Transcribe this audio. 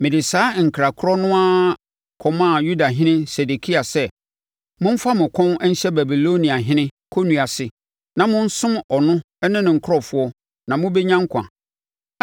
Mede saa nkra korɔ no ara kɔmaa Yudahene Sedekia sɛ, “Momfa mo kɔn nhyɛ Babiloniahene kɔnnua ase na monsom ɔno ne ne nkurɔfoɔ na mobɛnya nkwa.